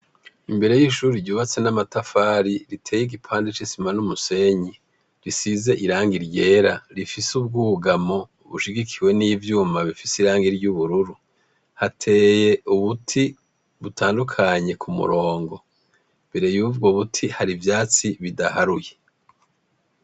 Imbere y'ishure ryubatse n'amatafari, riteye igipande c'isima n'umusenyi, risize irangi ryera, rifise ubwugamo bushigikiwe n'ivyuma bifise irangi ry'ubururu, hateye ubuti butandukanye k'umurongo, imbere yubwo buti hari ivyatsi bidaharuye.